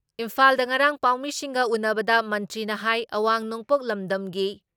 ꯏꯝꯐꯥꯜꯗ ꯉꯔꯥꯥꯡ ꯄꯥꯎꯃꯤꯁꯤꯡꯒ ꯎꯟꯅꯕꯗ ꯃꯟꯇ꯭ꯔꯤꯅ ꯍꯥꯏ ꯑꯋꯥꯡ ꯅꯣꯡꯄꯣꯛ ꯂꯝꯗꯝꯒꯤ